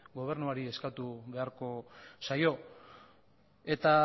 gobernuari eskatu beharko zaio eta